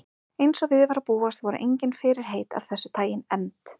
Eins og við var að búast voru engin fyrirheit af þessu tagi efnd.